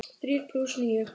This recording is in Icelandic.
Þrír plús níu.